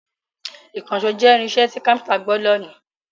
Ìkànṣó jẹ́ irinṣẹ́ tí kápẹ́ńtà gbọdọ̀ ní.